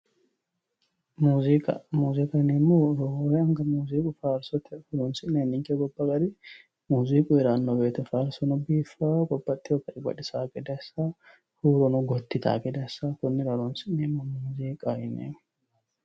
Muziiqa, muziiqaho yineemmohu faarsote horonsi'nanni ninke gobba garinni muziiqu heerano woyte faarsono biifano babbaxino dannini baxisano gede assano huurono gotti ytano gede assano konnira horonsi'neemmo muziiqaho yineemmore.